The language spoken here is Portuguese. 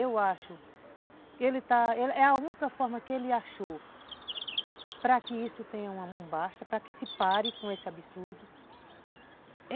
Eu acho que ele está, é a única forma que ele achou para que isso tenha um basta, para que se pare com esse absurdo.